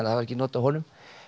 voru ekki not af honum